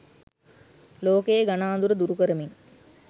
ලෝකයේ ගණ අඳුර දුරු කරමින්